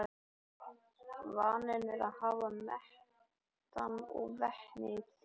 Vaninn er að hafa metan og vetni í þrýstihylkjum.